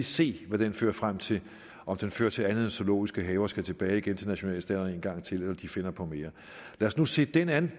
se hvad den fører frem til om den fører til andet end at zoologiske haver skal tilbage til nationalstaterne en gang til eller at de finder på mere lad os nu se den an